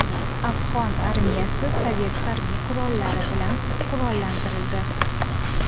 Afg‘on armiyasi Sovet harbiy qurollari bilan qurollantirildi.